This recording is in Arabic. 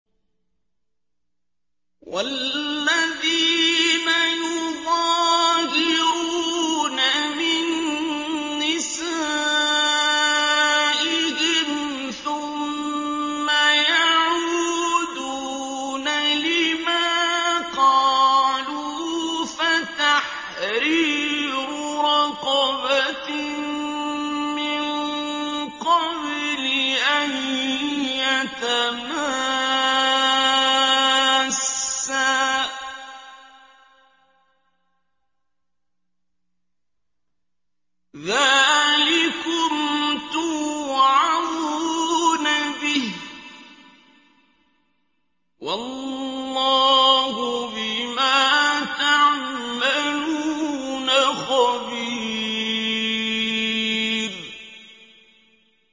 وَالَّذِينَ يُظَاهِرُونَ مِن نِّسَائِهِمْ ثُمَّ يَعُودُونَ لِمَا قَالُوا فَتَحْرِيرُ رَقَبَةٍ مِّن قَبْلِ أَن يَتَمَاسَّا ۚ ذَٰلِكُمْ تُوعَظُونَ بِهِ ۚ وَاللَّهُ بِمَا تَعْمَلُونَ خَبِيرٌ